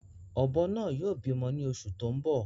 Ọ̀bọ náà yóò bímọ ni oṣù tó ń bọ̀